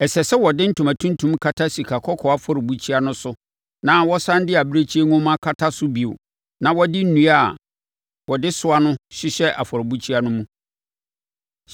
“Ɛsɛ sɛ wɔde ntoma tuntum kata sikakɔkɔɔ afɔrebukyia no so na wɔsane de abirekyie nhoma kata so bio na wɔde nnua a wɔde soa no hyehyɛ afɔrebukyia no mu.